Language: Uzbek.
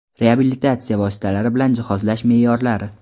reabilitatsiya vositalari bilan jihozlash meʼyorlari.